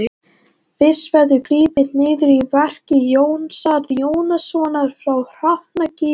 Fyrst verður gripið niður í verki Jónasar Jónassonar frá Hrafnagili.